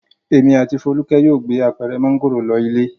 Èmi àti Folúkẹ́ yóò gbé apẹ̀rẹ̀ mángòrò lọ ilé.